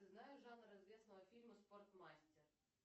ты знаешь жанр известного фильма спортмастер